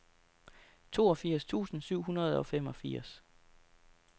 toogfirs tusind syv hundrede og femogfirs